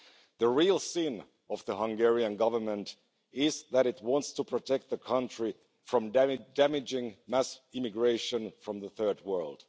The real sin of the Hungarian Government is that it wants to protect the country from damaging mass immigration from the Third World.